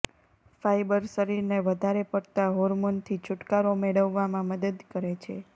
fibre શરીરને વધારે પડતા હાર્મોનથી છૂટકારો મેળવવામાં મદદ કરે છે